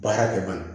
Baara kɛ ba la